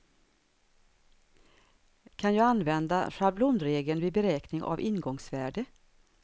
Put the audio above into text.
Kan jag använda schablonregeln vid beräkning av ingångsvärde?